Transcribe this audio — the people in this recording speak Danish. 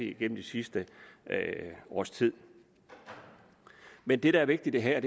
igennem det sidste års tid men det der er vigtigt her